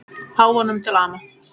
Páfanum til ama.